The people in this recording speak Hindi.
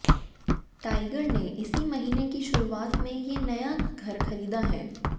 टाइगर ने इसी महीने की शुरुआत में ये नया घर खरीदा है